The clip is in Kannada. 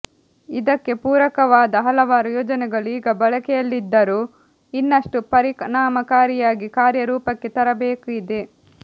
ಇದಕ್ಕೆ ಪೂರಕವಾದ ಹಲವಾರು ಯೋಜನೆಗಳು ಈಗ ಬಳಕೆಯಲ್ಲಿದ್ದರೂ ಇನ್ನಷ್ಟು ಪರಿಣಾಮಕಾರಿಯಾಗಿ ಕಾರ್ಯರೂಪಕ್ಕೆ ತರಬೇಕಿದೆ